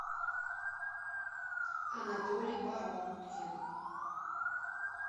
анатолий баронкин